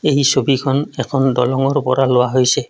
এই ছবিখন এখন দলংৰ পৰা লোৱা হৈছে।